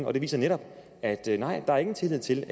og det viser netop at nej der var ingen tillid til